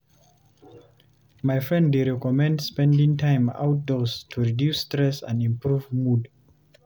My friend dey recommend spending time outdoors to reduce stress and improve mood.